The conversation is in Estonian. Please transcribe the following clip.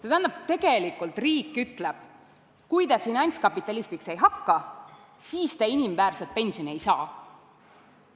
See tähendab, et tegelikult riik ütleb: kui te finantskapitalistiks ei hakka, siis te inimväärset pensioni ei saa.